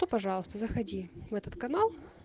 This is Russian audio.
то пожалуйста заходи в этот канал